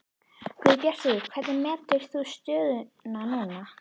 Guðbjartur hvernig metur þú stöðuna núna?